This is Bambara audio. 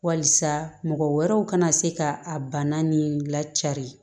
Walisa mɔgɔ wɛrɛw kana se ka a bana ni lacaa